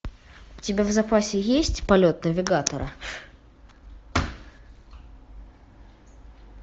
у тебя в запасе есть полет навигатора